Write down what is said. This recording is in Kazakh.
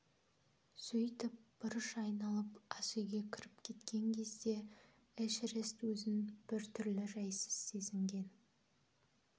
сөйтіп бұрыш айналып асүйге кіріп кеткен кезде эшерест өзін біртүрлі жайсыз сезінген